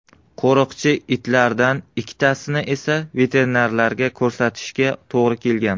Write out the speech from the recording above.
Qo‘riqchi itlardan ikkitasini esa veterinarga ko‘rsatishga to‘g‘ri kelgan.